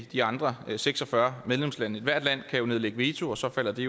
de andre seks og fyrre medlemslande hvert land kan jo nedlægge veto og så falder det